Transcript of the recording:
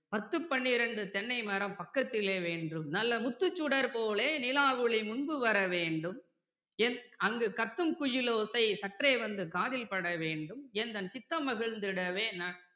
பத்து பன்னிரண்டு தென்னைமரம் பக்கத்திலே வேண்டும் நல்ல முத்துச் சுடர்போலே நிலாவொளி முன்பு வரவேண்டும் அங்கு கத்துங்குயிலோசை சற்றே வந்து காதிற்பட வேணும் எந்தன் சித்தம் மகிழ்ந்திடவே ந~